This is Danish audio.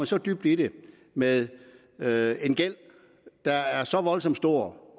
så dybt i det med med en gæld der er så voldsom stor